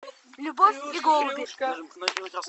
любовь и голуби